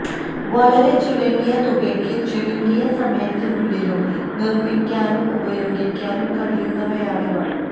വളരെ ചുരുങ്ങിയ തുകയ്ക്കും ചുരുങ്ങിയ സമയത്തിനുള്ളിലും നിര്മ്മിക്കാനും ഉപയോഗിക്കാനും കഴിയുന്നവയാണ് ഇവ